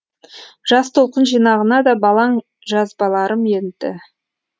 жас толқын жинағына да балаң жазбаларым енді